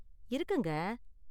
இருக்குங்க.